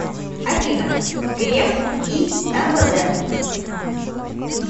афина греф и мвд